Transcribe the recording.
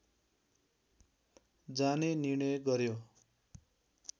जाने निर्णय गर्‍यो